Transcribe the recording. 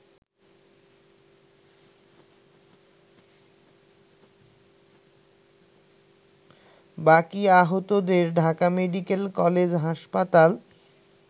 বাকি আহতদের Dhaka medical college হাসপাতাল